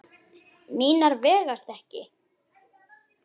Mínar vegast ekki.